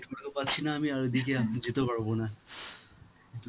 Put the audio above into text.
ও পারছিনা, আর ওইদিকে এখন যেতেও পারবো না.